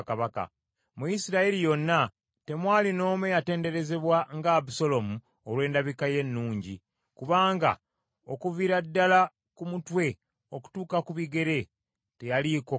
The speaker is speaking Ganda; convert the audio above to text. Mu Isirayiri yonna temwali n’omu eyatenderezebwa nga Abusaalomu olw’endabika ye ennungi, kubanga okuviira ddala ku mutwe okutuuka ku bigere teyaliiko kamogo.